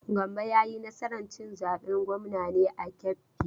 Gambo ya yi nasar cin zaben gwamnan ne a Kebbi?